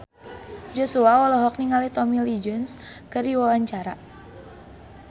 Joshua olohok ningali Tommy Lee Jones keur diwawancara